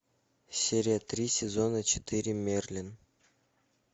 серия три сезона четыре мерлин